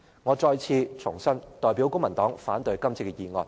我再次重申，我代表公民黨反對今次的議案。